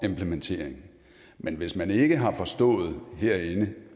implementeringen men hvis man ikke har forstået herinde